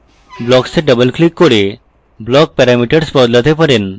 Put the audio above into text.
blocks এ double click করে block parameters বদলাতে পারেন